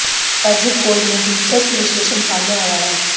exit poll में दिलचस्प विश्लेषण सामने आया है